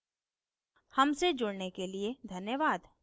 हमसे जुड़ने के लिए धन्यवाद